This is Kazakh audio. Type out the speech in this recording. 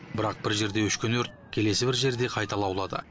бірақ бір жерде өшкен өрт келесі бір жерде қайта лаулады